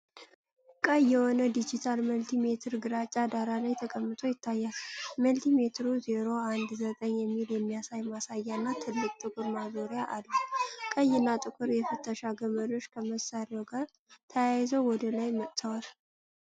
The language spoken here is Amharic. ቀይ የሆነ ዲጂታል መልቲሜትር ግራጫ ዳራ ላይ ተቀምጦ ይታያል። መልቲሜትሩ "019" የሚል የሚያሳይ ማሳያ እና ትልቅ ጥቁር ማዞሪያ አለው። ቀይ እና ጥቁር የፍተሻ ገመዶች ከመሣሪያው ጋር ተያይዘው ወደ ላይ ወጥተዋል።